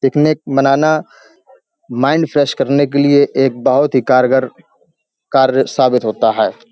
Picnic मनाना mind fresh करने के लिए एक बोहत ही कारगर कार्य साबित होता है ।